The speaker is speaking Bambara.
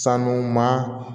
Sanu ma